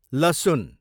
लसुन